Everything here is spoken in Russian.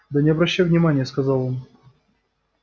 да не обращай внимание сказал он